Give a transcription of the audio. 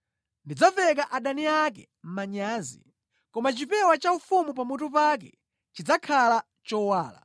Ndidzaveka adani ake manyazi, koma chipewa chaufumu pamutu pake chidzakhala chowala.”